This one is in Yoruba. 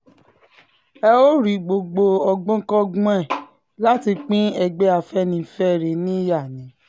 ẹ ò rí gbogbo ọgbọ́nkọ́gbọ́n ẹ̀ láti pín ẹgbẹ́ afẹ́nifẹ́re níyà ni